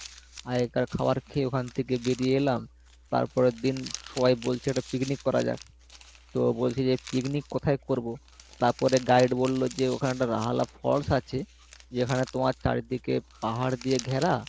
আগেকার খাওয়ার খেয়ে ওখান থেকে বেরিয়ে এলাম তারপরের দিন সবাই বলছে একটা picnic করা যাক, তো বলছে যে picnic কোথায় করবো তারপরে guide বললো যে ওখানে একটা falls আছে যেখানে তোমার চারিদিকে পাহাড় দিয়ে ঘেরা